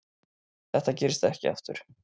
Þetta gerist ekki aftur.